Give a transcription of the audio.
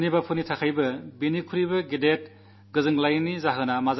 ആർക്കായാലും ഇതിനേക്കാൾ സന്തോഷമുള്ള കാര്യം മറ്റെന്തുണ്ടാകും